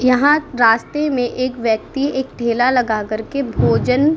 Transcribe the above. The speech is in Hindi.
यहाँ रास्ते में एक व्यक्ति एक ठेला लगा कर के भोजन --